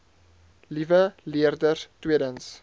liewe leerders tweedens